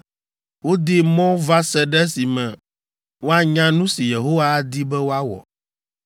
Wodee mɔ va se ɖe esime woanya nu si Yehowa adi be woawɔ.